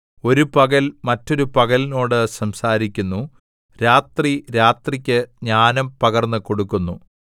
ഒരു പകൽ മറ്റൊരു പകലിനോട് സംസാരിക്കുന്നു രാത്രി രാത്രിക്ക് ജ്ഞാനം പകർന്നു കൊടുക്കുന്നു